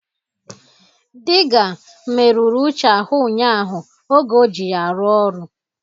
Diga merụrụ Uche ahụ ụnyaahụ oge o ji ya arụ-ọrụ